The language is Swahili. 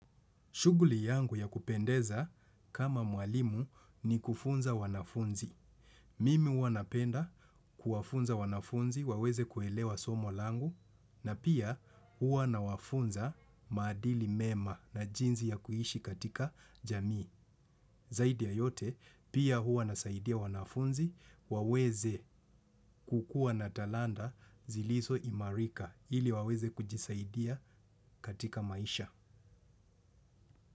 Shughuli yangu ya kupendeza kama mwalimu ni kufunza wanafunzi. Mimi huwa napenda kuwafunza wanafunzi waweze kuelewa somo langu na pia huwa nawafunza maadili mema na jinsi ya kuishi katika jamii. Zaidi ya yote pia huwa nasaidia wanafunzi waweze kukua na talanta zilizo imarika ili waweze kujisaidia katika maisha.